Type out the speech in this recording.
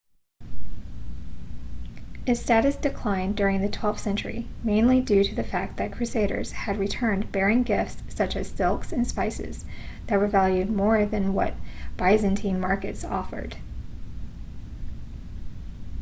its status declined during the twelfth century mainly due to the fact that crusaders had returned bearing gifts such as silks and spices that were valued more than what byzantine markets offered